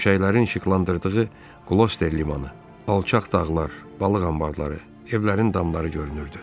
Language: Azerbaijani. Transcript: Şimşəklərin işıqlandırdığı qloster limanı, alçaq dağlar, balıq anbarları, evlərin damları görünürdü.